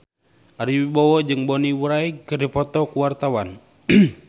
Ari Wibowo jeung Bonnie Wright keur dipoto ku wartawan